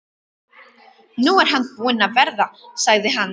Nú er hann búinn að vera, sagði hann.